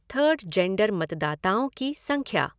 third gender मतदाताअें की संख्या